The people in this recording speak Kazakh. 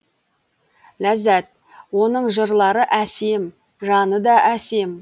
ләззат оның жырлары әсем жаны да әсем